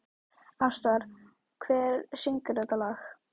Ástvar, hver syngur þetta lag?